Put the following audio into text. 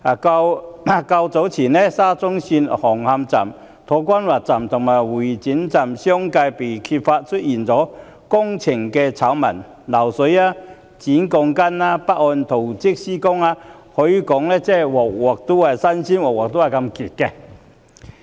較早前，沙田至中環線紅磡站、土瓜灣站及會展站相繼被揭發工程醜聞，包括漏水、剪鋼筋、不按圖則施工，可謂每次新鮮，每次嚴重。